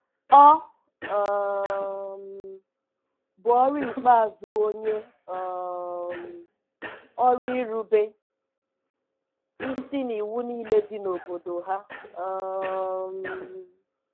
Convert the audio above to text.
Ọ um bụ ọrụ ikpeazụ onye um ọrụ irube isi n'iwu niile dị na obodo ha. um